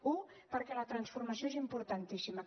una perquè la transformació és importantíssima